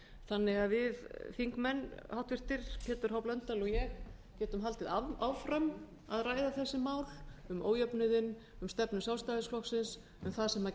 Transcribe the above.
þannig að við háttvirtir þingmenn pétur h blöndal og ég getum haldið áfram að ræða þessi mál um ójöfnuðinn um stefnu sjálfstæðisflokksins um það sem